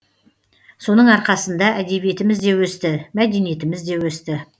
соның арқасында әдебиетіміз де өсті мәдениетіміз де өсті